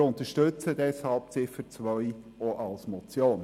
Wir unterstützen deshalb Ziffer 2 auch als Motion.